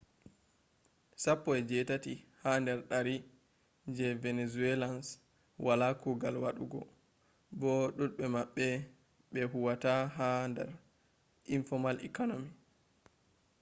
sappo e jetati ha dar dari je venezuelans wala kugal wadugo bo dubbe mabbe be huwata ha dar informal economy